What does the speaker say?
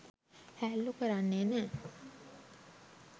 හෑල්ලු කරන්නේ නෑ.